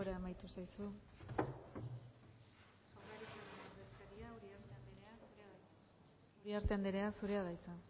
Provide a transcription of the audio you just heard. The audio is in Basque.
denbora amaitu zaizu uriarte andrea zurea da hitza